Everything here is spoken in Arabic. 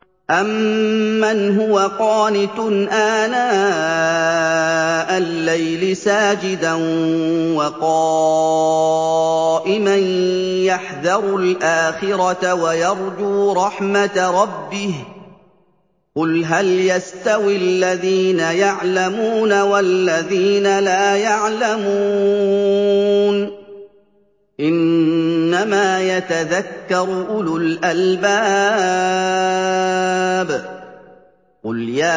أَمَّنْ هُوَ قَانِتٌ آنَاءَ اللَّيْلِ سَاجِدًا وَقَائِمًا يَحْذَرُ الْآخِرَةَ وَيَرْجُو رَحْمَةَ رَبِّهِ ۗ قُلْ هَلْ يَسْتَوِي الَّذِينَ يَعْلَمُونَ وَالَّذِينَ لَا يَعْلَمُونَ ۗ إِنَّمَا يَتَذَكَّرُ أُولُو الْأَلْبَابِ